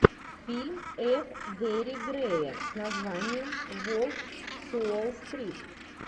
фильм ф гэри грея с названием волк с уолл стрит